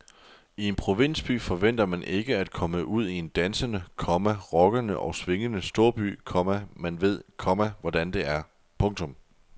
I en provinsby forventer man ikke at komme ud i en dansende, komma rockende og swingende storby, komma man ved, komma hvordan det er. punktum